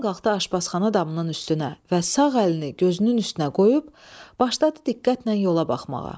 Ordan qalxdı aşbazxana damının üstünə və sağ əlini gözünün üstünə qoyub başladı diqqətlə yola baxmağa.